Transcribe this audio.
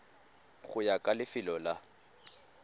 go ya ka lefelo la